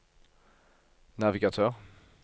navigatør